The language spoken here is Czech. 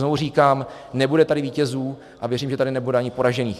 Znovu říkám, nebude tady vítězů, a věřím, že tady nebude ani poražených.